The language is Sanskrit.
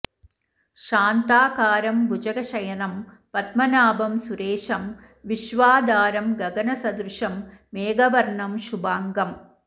शान्ताकारं भुजगशयनं पद्मनाभं सुरेशं विश्वाधारं गगनसदृशं मेघवर्णं शुभांगम्